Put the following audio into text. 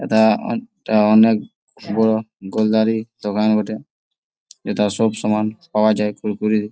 এটা আহ এটা অনেক বড়ো গোলদারি দোকান বটে যেথা সবসময় পাওয়া যায় কুড়কুড়ি ।